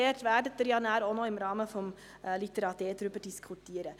Dort werden Sie ja dann auch noch im Rahmen von Litera d darüber diskutieren.